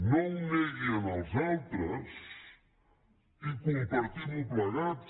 no ho negui en els altres i compartim ho plegats